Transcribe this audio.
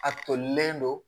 A tolilen don